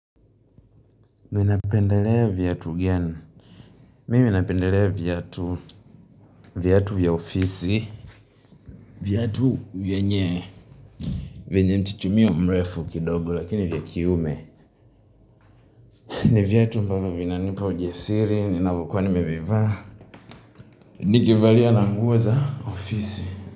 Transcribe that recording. Mi napendelea viatu gani Mimi napendelea viatu. Viatu vya ofisi. Viatu vyenye. Vyenye mchuchumio mrefu kidogo lakini vya kiume. Ni viatu ambavo vinanipa ujasiri, ninavokuwa nimevivaa. Nikivalia na nguo za ofisi.